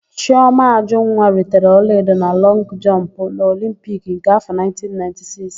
Chiọma Ajụnwa ritere ọlaedo na lọngụ jọmpụ n'Olimpiki nke áfọ̀ 1996.